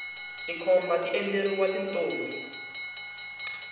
tikhomba ti endleriwa tintombi